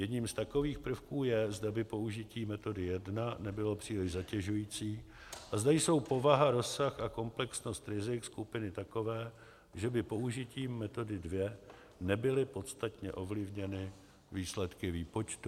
Jedním z takových prvků je, zda by použití metody jedna nebylo příliš zatěžující a zda jsou povaha, rozsah a komplexnost rizik skupiny takové, že by použitím metody dvě nebyly podstatně ovlivněny výsledky výpočtu.